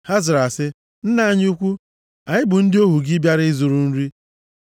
Ha zara sị, “Nna anyị ukwu, anyị bụ ndị ohu gị bịara ịzụrụ nri.